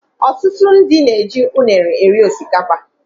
Ọtụtụ ndị na -eji unere eri osikapa.